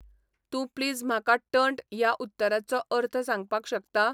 तूं प्लीज म्हाका टर्न्ट ह्या उतराचो अर्थ सांगपाक शकता?